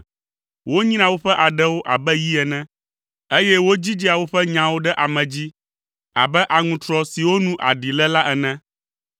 Wonyrea woƒe aɖewo abe yi ene, eye wodzidzea woƒe nyawo ɖe ame dzi abe aŋutrɔ siwo nu aɖi le la ene.